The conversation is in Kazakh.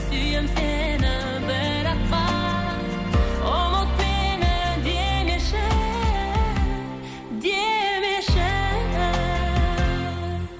сүйем сені бірақ қана ұмыт мені демеші демеші